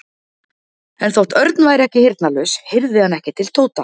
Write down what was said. En þótt Örn væri ekki heyrnarlaus heyrði hann ekki til Tóta.